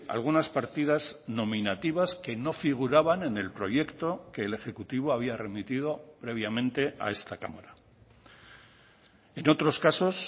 algunas partidas nominativas que no figuraban en el proyecto que el ejecutivo había remitido previamente a esta cámara en otros casos